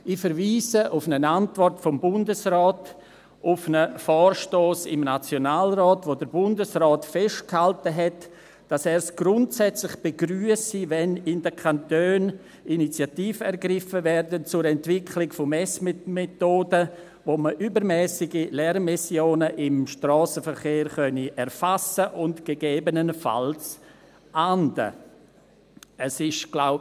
Ich verweise auf eine Antwort des Bundesrates auf einen Vorstoss des Nationalrates, in dem der Bundesrat festgehalten hat, dass er es grundsätzlich begrüsse, wenn in den Kantonen Initiativen zur Entwicklung von Messmethoden ergriffen würden, mit denen man übermässige Lärmemissionen im Strassenverkehr erfassen und gegebenenfalls ahnden könne.